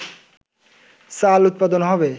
চাল উৎপাদন হবে